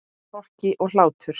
Hroki og hlátur.